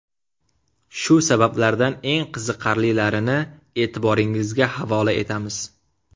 Shu sabablardan eng qiziqarlilarini e’tiboringizga havola etamiz.